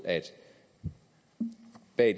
at